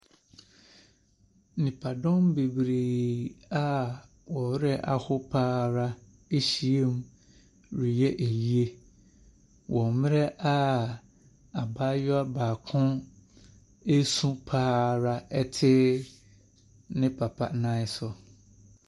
Nnipadɔm bebree a wɔn werɛ aho pa ara ahyia mu reyɛ ayie wɔ mmerɛ a abaayewa baako ɛresu pa ara te ne papa nan so.